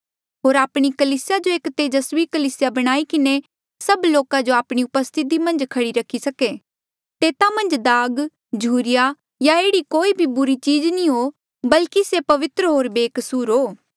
होर आपणी कलीसिया जो एक तेजस्वी कलीसिया बणाई किन्हें सभ लोका जो आपणी उपस्थिति मन्झ खड़ी करी सके तेता मन्झ दाग झुरिया या एह्ड़ी कोई भी बुरी चीज नी हो बल्की से पवित्र होर बेकसूर हो